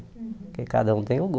Porque cada um tem o